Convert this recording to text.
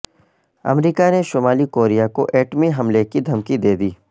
امریکا نے شمالی کوریا کو ایٹمی حملے کی دھمکی دے دی